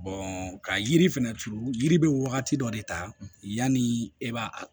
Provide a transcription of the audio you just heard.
ka yiri fɛnɛ turu yiri bɛ wagati dɔ de ta yanni e b'a